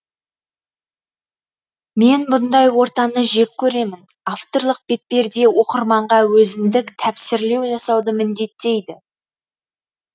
мен бұндай ортаны жек көремін авторлық бетперде оқырманға өзіндік тәпсірлеу жасауды міндеттейді